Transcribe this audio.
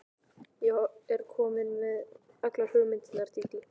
Ég er komin með allar myndirnar, Dídí.